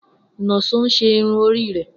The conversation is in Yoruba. Nonso n ṣe irun ori rẹ.